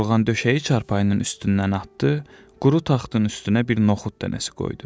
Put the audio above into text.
Yorğan döşəyi çarpayının üstündən atdı, quru taxtın üstünə bir noxud dənəsi qoydu.